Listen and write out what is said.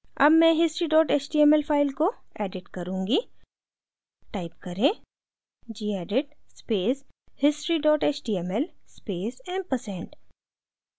अब मैं history html file को edit करुँगी type करें: gedit space history html space ampersand